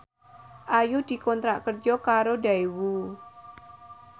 Ayu dikontrak kerja karo Daewoo